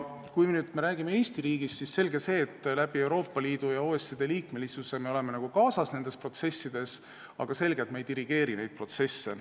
Kui me räägime Eesti riigist, siis selge on see, et Euroopa Liidu ja OECD liikmesuse kaudu me oleme nendes protsessides kaasas, aga on ka selge, et me ei dirigeeri neid protsesse.